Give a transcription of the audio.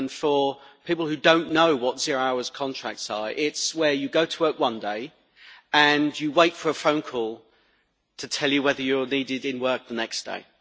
For people who don't know what zero-hours contracts are, it is where you go to work one day and you wait for a phone call to tell you whether you are needed in work the next day.